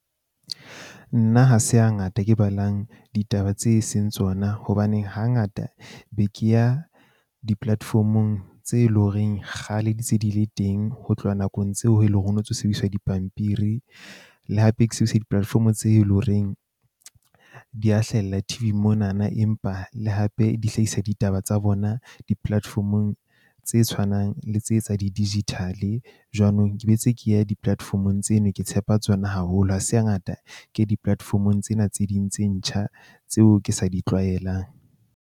Nna ha se ha ngata ke balang ditaba tse seng tsona hobane hangata be ke ya di-platform-ong tse leng ho reng kgale di ntse di le teng. Ho tloha nakong tseo eleng hore ho no ntso sebediswa dipampiri le hape ke sebedisa di-platform tse leng horeng di a hlahella T_V mona na, empa le hape di hlahisa ditaba tsa bona di-platform-ong tse tshwanang le tse tsa di digital-e. Jwanong ke bentse ke ya di-platform-ong tseno. Ke tshepa tsona haholo ha se ha ngata ke di-platform-ong tsena tse ding tse ntjha tseo ke sa di tlwaelang.